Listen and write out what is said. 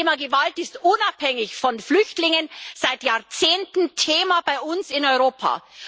Das Thema Gewalt ist unabhängig von Flüchtlingen seit Jahrzehnten Thema bei uns in Europa.